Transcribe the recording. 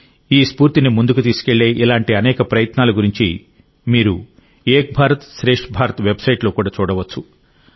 ఈ స్ఫూర్తిని ముందుకు తీసుకెళ్లే ఇలాంటి అనేక ప్రయత్నాల గురించి మీరు ఏక్ భారత్శ్రేష్ఠ భారత్ వెబ్సైట్లో కూడా చూడవచ్చు